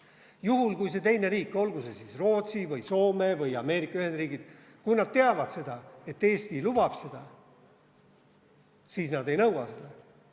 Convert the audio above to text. Juhul, kui selles teises riigis – olgu see siis Rootsi või Soome või Ameerika Ühendriigid –nad teavad, et Eesti lubab seda, siis nad ei nõua loobumist.